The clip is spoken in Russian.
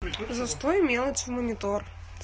за стой мелочи монитор